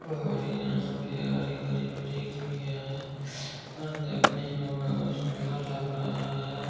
और यहाँ पे हरी-भरी वृक्ष भी है और देखने में बहुत सुन्दर लग रहा है।